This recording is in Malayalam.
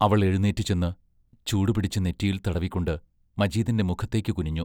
അവൾ എഴുന്നേറ്റു ചെന്ന്, ചൂടുപിടിച്ച് നെറ്റിയിൽ തടവിക്കൊണ്ട് മജീദിന്റെ മുഖത്തേക്കു കുനിഞ്ഞു.